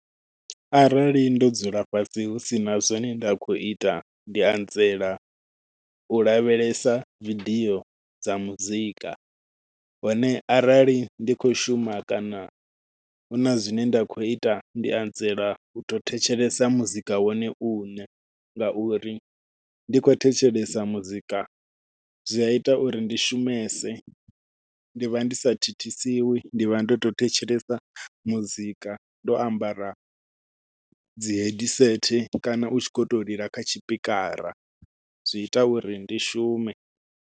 Arali ndo dzula fhasi hu sina zwone nda khou ita ndi anzela u lavhelesa vidio dza muzika, hone arali ndi kho shuma kana huna zwine nda khou ita ndi anzela u to thetshelesa muzika wone uṋe ngauri ndi khou thetshelesa muzika zwia ita uri ndi shumese ndi vha ndi sa thithisiwi ndi vha ndo to thetshelesa muzika ndo ambara dzi headset kana u tshi khou to lila kha tshipikara zwi ita uri ndi shume.